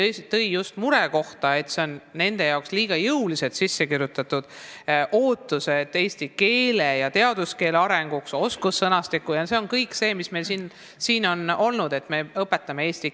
Ta tõi välja just selle murekoha, et nende arvates on see ootus liiga jõuliselt sisse kirjutatud: eestikeelse teaduskeele areng, oskussõnastik ja kõik muu selline, mis meil on jutuks olnud seoses eesti keele õpetamisega.